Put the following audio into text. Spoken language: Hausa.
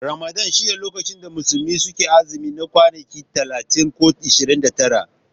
Ramadan shine lokacin da musulmi suke azumi na kwanaki 30 ko 29.